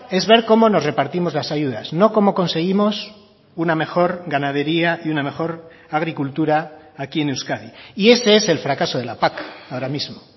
es ver cómo nos repartimos las ayudas no cómo conseguimos una mejor ganadería y una mejor agricultura aquí en euskadi y ese es el fracaso de la pac ahora mismo